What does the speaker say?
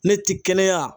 Ne ti kɛnɛya